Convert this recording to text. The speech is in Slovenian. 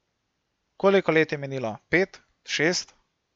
Koliko let je minilo, pet, šest?